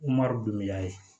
don mi a ye